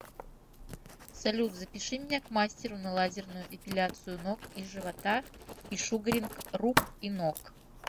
салют запиши меня к мастеру на лазерную эпиляцию ног и живота и шугаринг рук и ног